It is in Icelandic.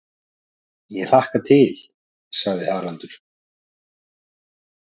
Ég hlakka til, sagði Haraldur.